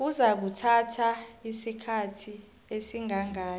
kuzakuthatha isikhathi esingangani